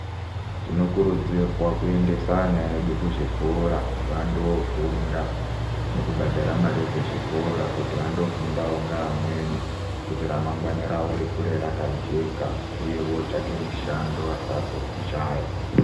Tinokurudzirwa kuendesa ana edu kuzvikora vandoofunda, nekubhadhara mari dzechikora kuti vandofundawo ngeamweni kuti ramangwani ravo rikure rakajeka uye vootsvake mishando vasazoshaya.